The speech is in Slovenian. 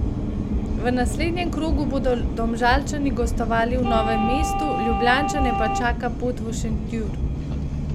V naslednjem krogu bodo Domžalčani gostovali v Novem mestu, Ljubljančane pa čaka pot v Šentjur.